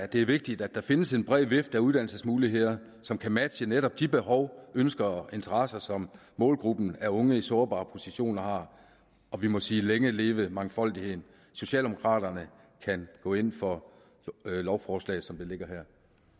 det er vigtigt at der findes en bred vifte af uddannelsesmuligheder som kan matche netop de behov ønsker og interesser som målgruppen af unge i sårbare positioner har og vi må sige længe leve mangfoldigheden socialdemokraterne kan gå ind for lovforslaget som det ligger her